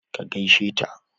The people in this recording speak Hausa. ki gaishe ta!